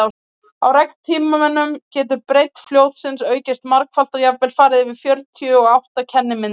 á regntímanum getur breidd fljótsins aukist margfalt og jafnvel farið yfir fjörutíu og átta kennimynd